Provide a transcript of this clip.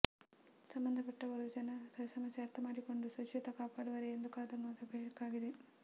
ಸಂಬಂಧಪಟ್ಟವರು ಜನರ ಸಮಸ್ಯೆ ಅರ್ಥಮಾಡಿಕೊಂಡು ಶುಚಿತ್ವ ಕಾಪಾಡುವರೇ ಎಂದು ಕಾದು ನೋಡಬೇಕಿದೆ